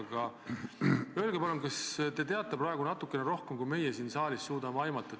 Aga öelge palun, kas te teate praegu natuke rohkem, kui meie siin saalis suudame aimata.